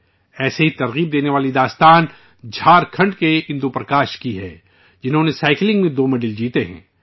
ایسی ہی حوصلہ افزا کہانی جھارکھنڈ کے اندو پرکاش کی ہے، جنہوں نے سائیکلنگ میں دو میڈل جیتے ہیں